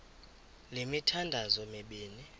le mithandazo mibini